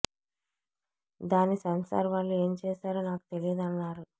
దాన్ని సెన్సార్ వాళ్లు ఏం చేశారో నాకు తెలియదు అన్నారు